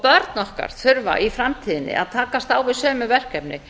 börn okkar þurfa í framtíðinni að takast á við sömu verkefni